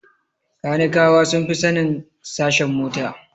Kanikawa sun fi sanin sashen mota